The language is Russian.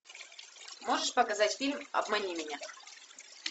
можешь показать фильм обмани меня